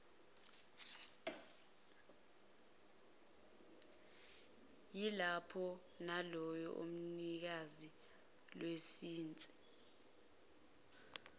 yalapho neyomnikazi welayisense